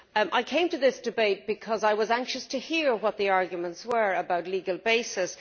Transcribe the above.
I came to this debate because I was anxious to hear the arguments about legal bases.